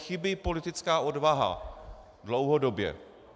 Chybí politická odvaha - dlouhodobě.